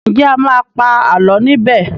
Nje a má pa àlọ ní bè?